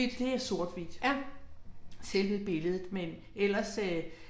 Det er sort/hvidt. Selve billedet, men ellers øh